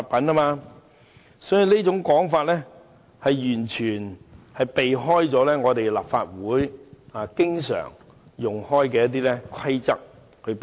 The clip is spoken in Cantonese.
所以，他這種說法完全避開了立法會經常引用的規則。